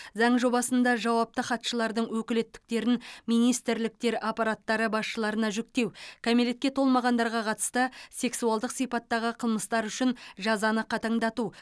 заң жобасында жауапты хатшылардың өкілеттіктерін министрліктер аппараттары басшыларына жүктеу кәмелетке толмағандарға қатысты сексуалдық сипаттағы қылмыстар үшін жазаны қатаңдату